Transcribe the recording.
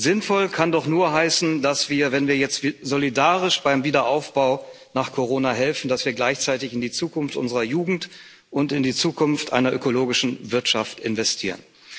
Sinnvoll kann doch nur heißen, dass wir, wenn wir jetzt solidarisch beim Wiederaufbau nach Corona helfen, gleichzeitig in die Zukunft unserer Jugend und in die Zukunft einer ökologischen Wirtschaft investieren.